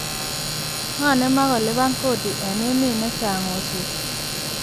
Ng'o ne ma ko liban kodi eng emet ne chang oswek?